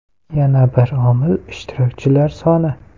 Yana bir omil ishtirokchilar soni.